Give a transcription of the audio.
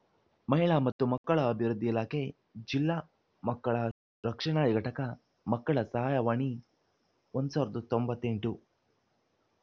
ಮಹಿಳಾ ಮತ್ತು ಮಕ್ಕಳ ಅಭಿವೃದ್ಧಿ ಇಲಾಖೆ ಜಿಲ್ಲಾ ಮಕ್ಕಳ ರಕ್ಷಣಾ ಘಟಕ ಮಕ್ಕಳ ಸಹಾಯವಾಣಿ ಸಾವಿರದ ತೊಂಬತ್ತ್ ಎಂಟು